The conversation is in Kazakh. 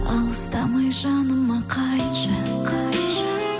алыстамай жаныма қайтшы